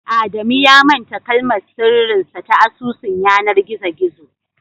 Adamu ya manta kalmar sirrin sa ta asusun yanar gizo gizo